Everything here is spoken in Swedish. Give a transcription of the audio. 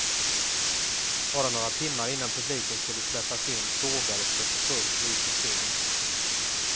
Bara några timmar innan publiken skulle släppas in sågades det för fullt i på scen.